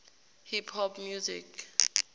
hip hop music